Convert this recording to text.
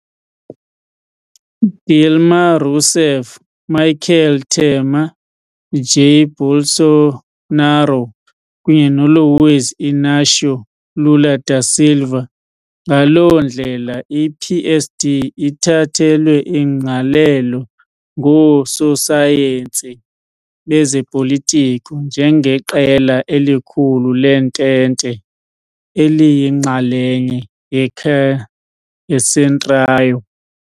Dilma Rousseff, Michel Temer, Jair Bolsonaro, kunye Luiz Inácio Lula da Silva. Ngaloo ndlela, i-PSD ithathelwe ingqalelo ngoososayensi bezopolitiko njengeqela elikhulu lentente, eliyinxalenye "yeCentrão".